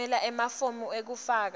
tfumela emafomu ekufaka